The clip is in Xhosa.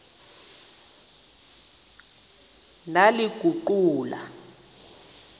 ndaliguqula